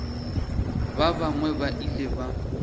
ba bangwe ba ile ba